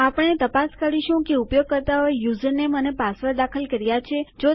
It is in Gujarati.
આપણે તપાસ કરવાની જરૂર છે કે ઉપયોગકર્તાઓ એ યુઝરનેમ અને પાસવર્ડ દાખલ કર્યા છે